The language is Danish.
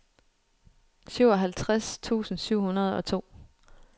syvoghalvtreds tusind syv hundrede og to